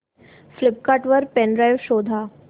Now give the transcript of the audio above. Flipkart वर pen drive शोधा